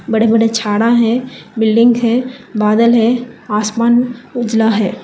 बड़े बड़े झाड़ा है बिल्डिंग है बादल है आसमान उजला है।